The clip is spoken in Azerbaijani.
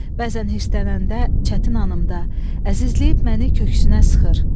Bəzən hirslənəndə, çətin anımda əzizləyib məni köksünə sıxır.